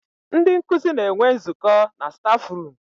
Ndị nkuzi na-enwe nzụkọ na stafrum.